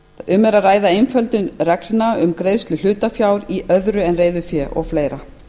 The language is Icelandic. um er að ræða einföldun reglna um greiðslu hlutafjár í öðru en reiðufé og fleiri